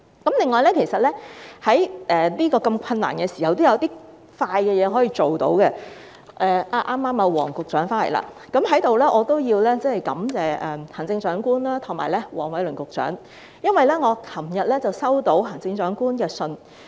此外，在如此困難的時候，也有一些事情可以較快辦到——黃局長剛好在席——我在此也要感謝行政長官及黃偉綸局長，因為我昨天收到行政長官的信件。